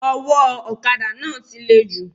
Owó òkadà náà ti le jù